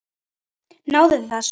Náðuð þið þessu?